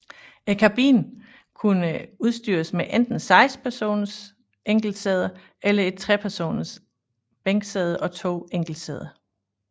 Kabinen kunne udstyres med enten seks enkeltsæder eller et trepersoners bænksæde og to enkeltsæder